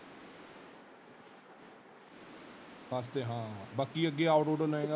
bus ਤੇ ਹਾਂ ਬਾਕੀ ਅੱਗੇ ਆਟੋ ਉਤੋਂ ਲਏਂਗਾ।